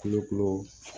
Kulokolo